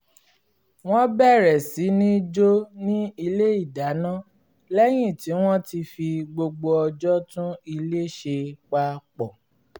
wọ́n bẹ̀rẹ̀ sí ní jó ní ilé ìdáná lẹ́yìn tí wọ́n ti fi gbogbo ọjọ́ tún ilé ṣe papọ̀